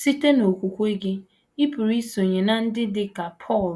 Site n’okwukwe gị, ị pụrụ isonye ná ndị dị ka Pọl,